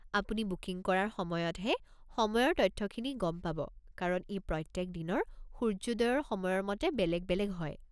আপুনি বুকিং কৰাৰ সময়তহে সময়ৰ তথ্যখিনি গম পাব কাৰণ ই প্ৰত্যেক দিনৰ সূৰ্যোদয়ৰ সময়ৰ মতে বেলেগ বেলেগ হয়।